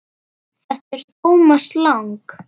Þetta er Thomas Lang.